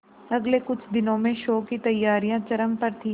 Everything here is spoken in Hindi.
अगले कुछ दिनों में शो की तैयारियां चरम पर थी